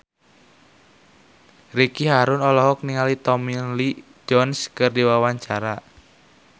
Ricky Harun olohok ningali Tommy Lee Jones keur diwawancara